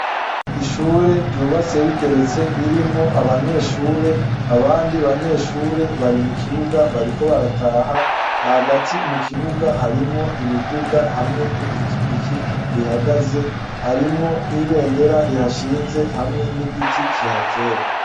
Ishure ryubatse rigeretse ririmwo abanyeshure , abandi banyeshure bari mu kibuga bariko barataha hagati mu kibuga harimwo imiduga hamwe nipikipiki ihagaze harimwo nibendera rihashinze hamwe nigiti kihateye .